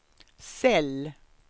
cell